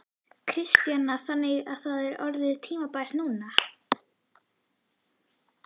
Kristjana: Þannig að það er orðið tímabært núna?